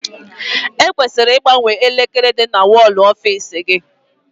E kwesịrị igbanwe elekere dị na wọl ọfiisi gị.